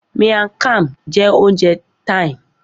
Miang Kham jẹ́ oúnjẹ Thai